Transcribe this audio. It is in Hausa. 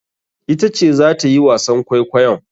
Ita ce zata yi wasan kwaikwayon.